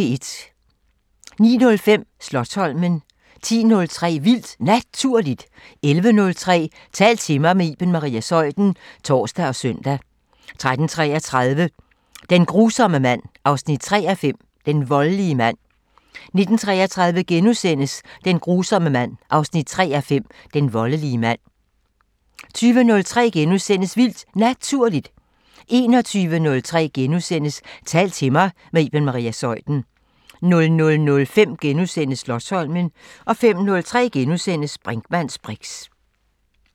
09:05: Slotsholmen 10:03: Vildt Naturligt 11:03: Tal til mig – med Iben Maria Zeuthen (tor og søn) 13:33: Den grusomme mand 3:5 – Den voldelige mand 19:33: Den grusomme mand 3:5 – Den voldelige mand * 20:03: Vildt Naturligt * 21:03: Tal til mig – med Iben Maria Zeuthen * 00:05: Slotsholmen * 05:03: Brinkmanns briks *